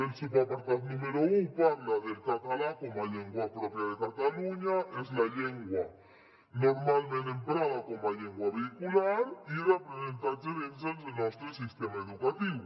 el subapartat número un parla del català com a llengua pròpia de catalunya és la llengua normalment emprada com a llengua vehicular i d’aprenentatge dins del nostre sistema educatiu